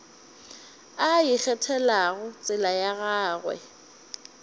a ikgethelago tsela ya gagwe